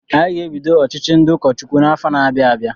Anyị ga-ebido ọchịchị ndị ụkọ Chukwu n'afọ na-abịa abịa.